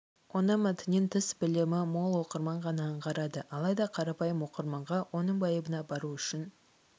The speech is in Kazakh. оны мәтіннен тыс білімі мол оқырман ғана аңғарады алайда қарапайым оқырманға оның байыбына бару үшін